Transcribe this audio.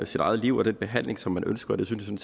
sit eget liv og den behandling som man ønsker og det synes jeg